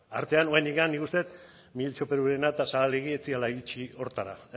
artean oraindik nik uste dut perurena eta ez zirela iritsi horretara